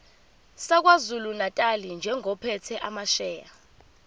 sakwazulunatali njengophethe amasheya